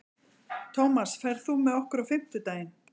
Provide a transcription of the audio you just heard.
Tómas, ferð þú með okkur á fimmtudaginn?